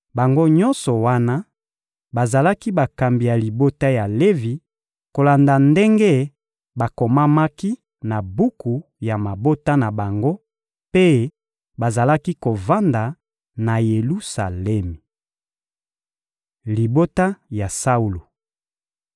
Bango nyonso wana bazalaki bakambi ya libota ya Levi kolanda ndenge bakomamaki na buku ya mabota na bango; mpe bazalaki kovanda na Yelusalemi. Libota ya Saulo (1Ma 8.28-38)